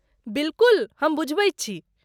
बिलकुल, हम बुझाबैत छी।